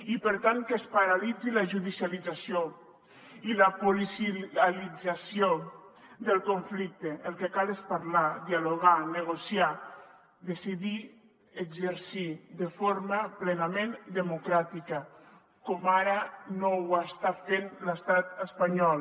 i per tant que es paralitzi la judicialització i la policialització del conflicte el que cal és parlar dialogar negociar decidir exercir de forma plenament democràtica com ara no ho està fent l’estat espanyol